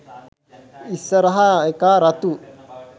ඉස්සරහ එකා රතු